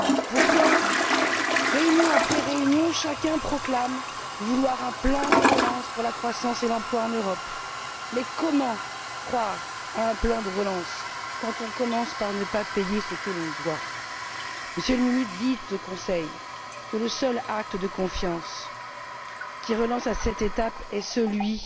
Pourtant, réunion après réunion, chacun proclame vouloir un plan de relance pour la croissance et l'emploi en Europe, mais comment croire à un plan de relance quand on commence par ne pas payer ce que l'on doit? Monsieur le Ministre, dites au Conseil que le seul acte de confiance qui relancerait cette étape est celui